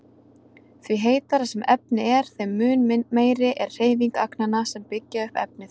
Því heitara sem efni er þeim mun meiri er hreyfing agnanna sem byggja upp efnið.